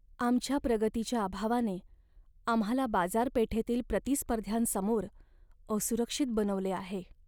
आमच्या प्रगतीच्या अभावाने आम्हाला बाजारपेठेतील प्रतिस्पर्ध्यांसमोर असुरक्षित बनवले आहे.